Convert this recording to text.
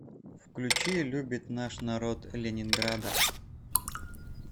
включи любит наш народ ленинграда